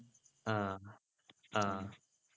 ആഹ് ആഹ്